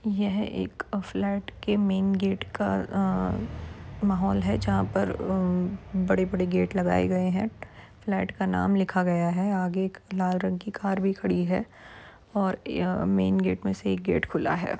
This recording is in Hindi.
यह एक अ फ़्लैट के मैन गेट का अ माहोल है जहां पर अ अम बड़े बड़े गेट लगाए गए है फ्लैट का नाम लिखा गया है आगे एक लाल रंग की कार भी खड़ी है और मैन गेट में से एक गेट खुला है।